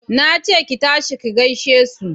Na ce ki tashi ki gaishe su!